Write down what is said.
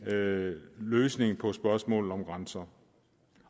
løsning på spørgsmålet om grænser